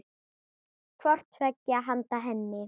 hvort tveggja handa henni.